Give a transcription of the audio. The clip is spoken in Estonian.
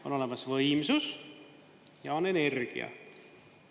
On olemas võimsus ja on energia.